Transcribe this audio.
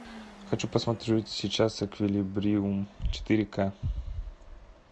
хочу посмотреть сейчас эквилибриум четыре ка